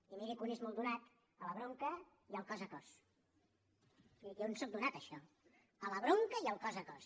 i miri que un és molt donat a la bronca i al cos a cos jo hi sóc donat a això a la bronca i al cos a cos